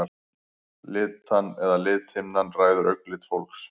Litan eða lithimnan ræður augnlit fólks.